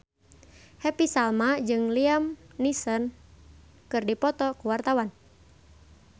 Happy Salma jeung Liam Neeson keur dipoto ku wartawan